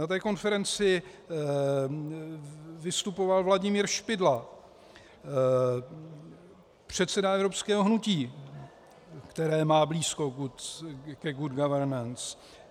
Na této konferenci vystupoval Vladimír Špidla, předseda Evropského hnutí, které má blízko k Good Governance.